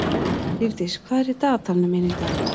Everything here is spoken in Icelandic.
Lífdís, hvað er í dagatalinu mínu í dag?